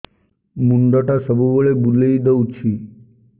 ମୁଣ୍ଡଟା ସବୁବେଳେ ବୁଲେଇ ଦଉଛି